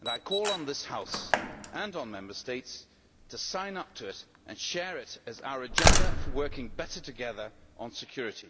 and I call on this House and on Member States to sign up to it and share it as our agenda for working better together on security.